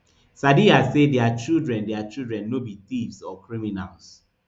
sadiya say dia children dia children no be thieves or criminals